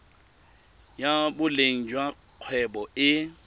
ya boleng jwa kgwebo e